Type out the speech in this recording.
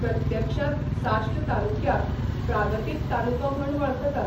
प्रत्यक्षांत साश्ट तालुक्याक प्रागतीक तालुको म्हूण वळखतात.